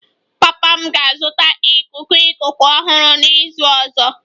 Papa m ga-azụta ikuku ikuku ọhụrụ n'izu ọzọ